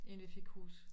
Inden vi fik hus